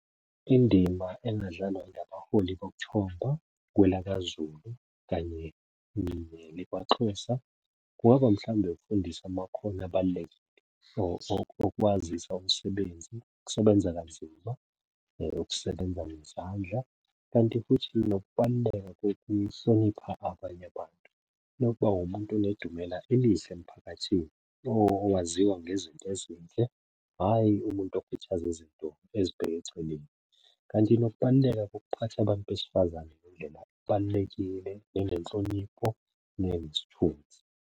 Indima engadlalwa ngabaholi bokuthomba kwelakaZulu kanye nekwaXhosa kungaba mhlawumbe ukufundisa amakhono abalulekile okwazisa umsebenzi, ukusebenza kanzima, ukusebenza ngezandla, kanti futhi nokubaluleka kokuhlonipha abanye abantu, nokuba umuntu onedumela elihle emphakathini. Owaziwa ngezinto ezinhle hhayi umuntu okhuthaza izinto ezibheke eceleni. Kanti nokubaluleka kokuphatha abantu besifazane ngendlela kubalulekile njengenhlonipho nenesithunzi.